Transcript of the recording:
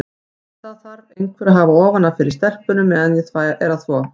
Það þarf einhver að hafa ofan af fyrir stelpunum á meðan ég er að þvo.